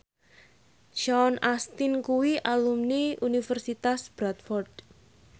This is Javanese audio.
Sean Astin kuwi alumni Universitas Bradford